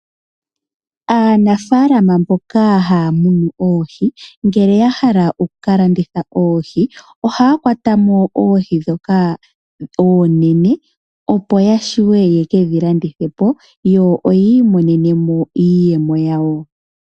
Aanafaalama mbono haya munu oohi ngele ya hala oku kalanditha oohi ohaya kwata mo oohi dhoka oonene opo ya shuwe ye kedhi landithe po yo oyi imonene mo iiyemo yawo.